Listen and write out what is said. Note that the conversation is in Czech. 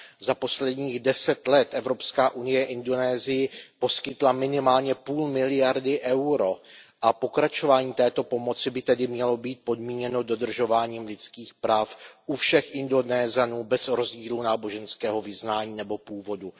Za posledních 10 let Evropská unie Indonésii poskytla minimálně půl miliardy EUR a pokračování této pomoci by tedy mělo být podmíněno dodržováním lidských práv u všech Indonésanů bez rozdílu náboženského vyznání nebo původu.